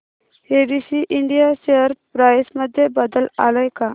ABC India share price मध्ये बदल आलाय का